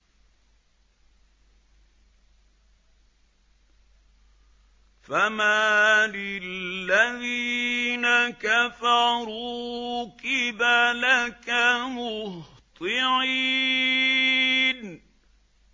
فَمَالِ الَّذِينَ كَفَرُوا قِبَلَكَ مُهْطِعِينَ